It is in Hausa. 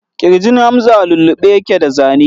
Ƙirjin Hamza a lullube yake da zane.